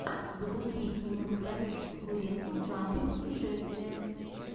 запусти кинематографическую ленту в жанре путешествия